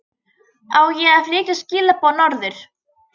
Á ég að flytja skilaboð norður?